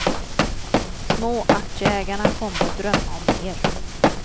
Småaktieägarna kommer att drömma om mer.